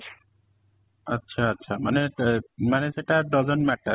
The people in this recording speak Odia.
ଆଚ୍ଛା, ଆଚ୍ଛା ମାନେ ତ ମାନେ ସେଇଟା doesn't matter